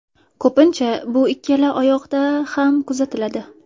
Ko‘pincha bu ikkala oyoqda ham kuzatiladi.